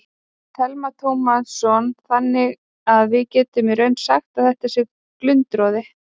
Telma Tómasson: Þannig að við getum í raun sagt að þetta sé glundroði?